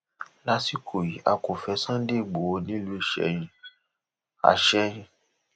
lásìkò yìí a kò fẹ sunday igbodò nílùú ìsẹyìn àsẹyìn